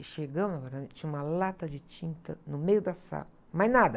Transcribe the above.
E chegamos no apartamento, tinha uma lata de tinta no meio da sala, mais nada.